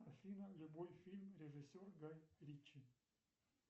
афина любой фильм режиссер гай ричи